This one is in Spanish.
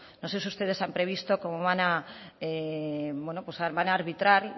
no se si ustedes han previsto cómo van a arbitrar